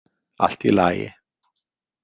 Allt í lagi.